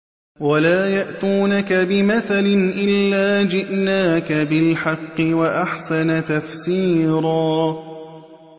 وَلَا يَأْتُونَكَ بِمَثَلٍ إِلَّا جِئْنَاكَ بِالْحَقِّ وَأَحْسَنَ تَفْسِيرًا